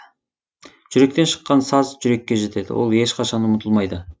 жүректен шыққан саз жүрекке жетеді ол ешқашан ұмытылмайды